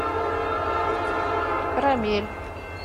карамель